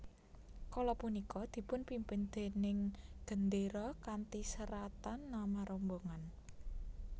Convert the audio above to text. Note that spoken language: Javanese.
Kala punika dipunpimpin déning gendéra kanthi seratan nama rombongan